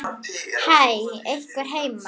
Hæ, er einhver heima?